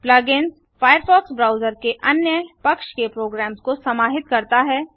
plug ins Firefox browser में अन्य पक्ष के प्रोग्रम्स को समाहित करता है